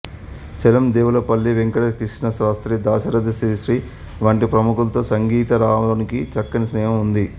చలం దేవులపల్లి వెంకట కృష్ణశాస్త్రి దాశరథి శ్రీశ్రీ వంటి ప్రముఖులతో సంగీతరావుకి చక్కని స్నేహం ఉంది